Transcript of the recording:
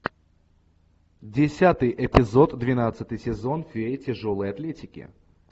десятый эпизод двенадцатый сезон фея тяжелой атлетики